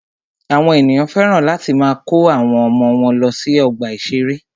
Àwọn ènìyàn féràn láti máa kó àwọn ọmọ wọ́n lọ sí ọgbà ìṣẹ̀rẹ́.